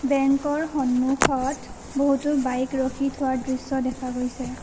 বেঙ্কৰ সন্মুখত বহুতো বাইক ৰখি থোৱাৰ দৃশ্য দেখা গৈছে।